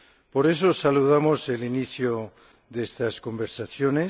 Por eso saludamos el inicio de estas conversaciones.